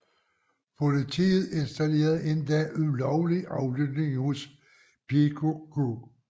Politiet installerede endda ulovlig aflytning hos PKK